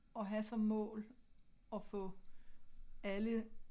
At have som mål at få alle